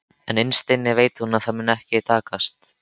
En innst inni veit hún að það mun ekki takast.